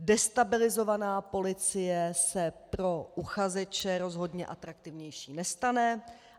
Destabilizovaná policie se pro uchazeče rozhodně atraktivnější nestane.